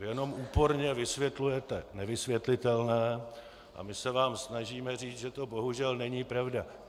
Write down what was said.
Vy jenom úporně vysvětlujete nevysvětlitelné a my se vám snažíme říct, že to bohužel není pravda.